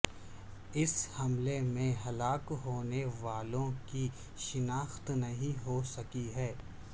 اس حملے میں ہلاک ہونے والوں کی شناخت نہیں ہو سکی ہے